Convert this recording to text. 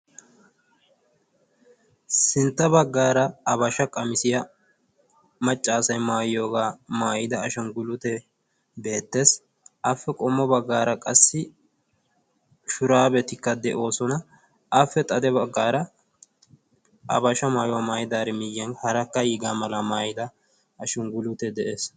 Sintta baggaara abasha qamisiya maccaasai maayiyoogaa maayida ashunggulute beettees. Appe qommo baggaara qassi shuraabetikka de'oosona. Appe xade baggaara abasha maayuwaa maayidaari miyyiyan harakka iigaa mala maayida ashunggulute de'ees.